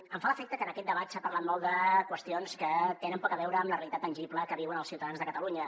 em fa l’efecte que en aquest debat s’ha parlat molt de qüestions que tenen poc a veure amb la realitat tangible que viuen els ciutadans de catalunya